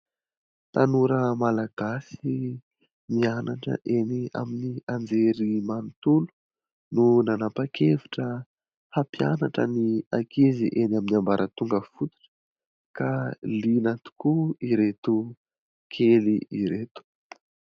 Tanora malagasy mianatra eny amin'ny anjerimanontolo no nanapa-kevitra hampianatra ny ankizy eny amin'ny ambaratonga fototra ka liana tokoa ireto kely ireto.